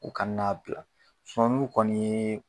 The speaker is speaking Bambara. U kana n'a bila s n'u kɔni ye